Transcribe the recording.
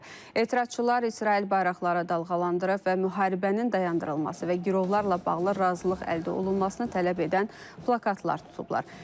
Etirazçılar İsrail bayraqları dalğalandırıb və müharibənin dayandırılması və girovlarla bağlı razılıq əldə olunmasını tələb edən plakatlar tutublar.